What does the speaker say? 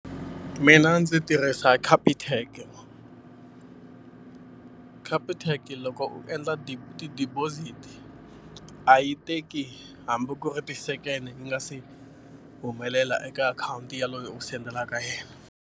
Mina ndzi tirhisa Capitec. Capitec loko u endla ti-deposit a yi teki hambi ku ri ti-second yi nga se humelela eka akhawunti ya loyi u sendelaka yena.